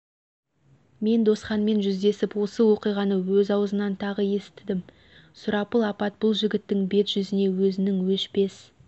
мен жолдасханмен жүздесіп осы оқиғаны өз аузынан тағы естідім сұрапыл апат бұл жігіттің бет-жүзіне өзінің өшпес